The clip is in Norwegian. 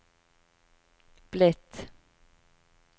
blitt